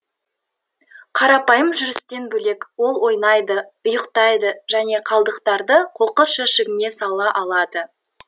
қарапайым жүрістен бөлек ол ойнайды ұйықтайды және қалдықтарды қоқыс жәшігіне сала алады